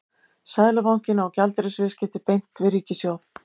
Seðlabankinn á gjaldeyrisviðskipti beint við ríkissjóð.